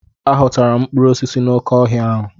Aghọtara m mkpụrụ osisi n'oké ọhịa ahụ.